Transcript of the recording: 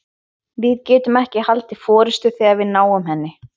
Við getum ekki haldið forystu þegar við náum henni.